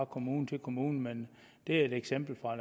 kommune til kommune men det er et eksempel fra